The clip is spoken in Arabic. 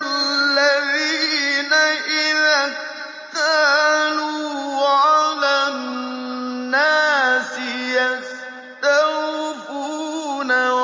الَّذِينَ إِذَا اكْتَالُوا عَلَى النَّاسِ يَسْتَوْفُونَ